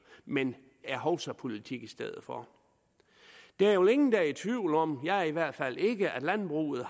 men er hovsapolitik i stedet for der er vel ingen der er i tvivl om jeg er i hvert fald ikke at landbruget